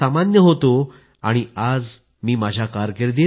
never go to bed thinking I could have put in more efforts